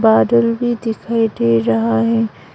बादल भी दिखाई दे रहा है।